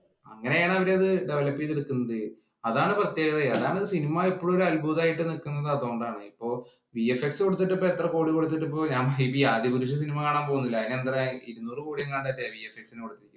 അങ്ങനെയാണ് അവർ അത് develop ചെയ്ത് എടുക്കുന്നത്. അതാണ് പ്രത്യേകത. അതാണ് ഈ സിനിമ ഇപ്പോഴും അത്ഭുതമായി നിൽക്കുന്നത് അതുകൊണ്ടാണ്. ഇപ്പൊ വീഎഫ്എക്സ് കൊടുത്തിട്ടു ഇപ്പ എത്ര കോടി കൊടുത്തിട്ടും ഇപ്പൊ ആദിപുരുഷ് cinema കാണാന്‍ പോകുന്നില്ല. അതിനു എന്താ ഇരുനൂറ് കോടി എങ്ങാണ്ട്